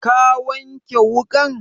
Ka wanke wuƙan?